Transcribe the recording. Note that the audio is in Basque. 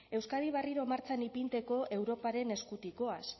euskadi barriro martxan ipinteko europaren eskutik goaz